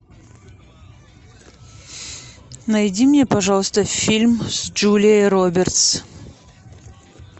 найди мне пожалуйста фильм с джулией робертс